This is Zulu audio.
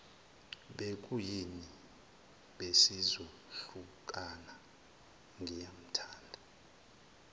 bekuyimi besizohlukana ngiyamthanda